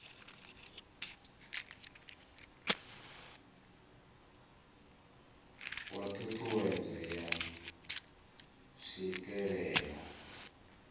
wa ṱhu ṱhuwedzo ya tswikelelo